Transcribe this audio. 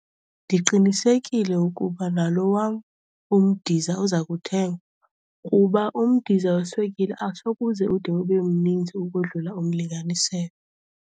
Ndiqinisekile ukuba nalo wam umdiza uza kuthengwa kuba umdiza weswekile awusokuze ude ube mninzi ukodlula umlinganiselo.